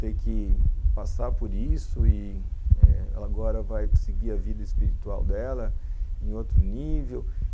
ter que passar por isso e ela agora vai seguir a vida espiritual dela em outro nível.